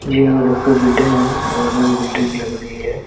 New उधर कोई building है गवर्मेंट कि बिल्डिंग लग रही है।